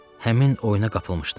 Həmin oyuna qapılmışdı.